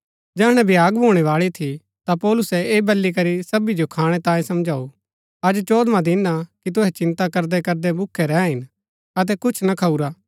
जैहणै भ्याग भूणैबाळी थी ता पौलुसै ऐह बली करी सबी जो खाणै तांयें समझाऊ अज चौदवां दिन कि तुहै चिन्ता करदैकरदै भूखै रैह हिन अतै कुछ ना खाऊरा